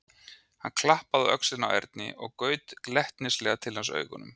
Hann klappaði á öxlina á Erni og gaut glettnislega til hans augunum.